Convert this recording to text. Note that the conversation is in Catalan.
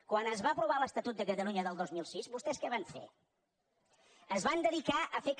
quan es va aprovar l’estatut de catalunya del dos mil sis vostès què van fer es van dedicar a fer que